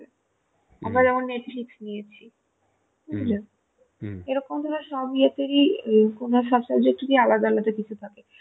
আমরা যেমন Netflix নিয়েছি Netflix বুঝলে Netflix এরকম ভাবে সব ইয়েতের ই ও সব subject এর ই আলাদা আলাদা কিছু থাকে